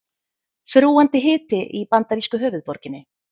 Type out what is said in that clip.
Þrúgandi hiti í bandarísku höfuðborginni